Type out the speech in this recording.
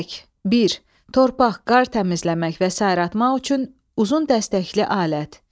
Kürək, bir torpaq, qar təmizləmək və sair atmaq üçün uzun dəstəkli alət.